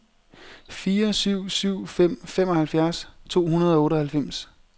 fire syv syv fem femoghalvfjerds to hundrede og otteoghalvfems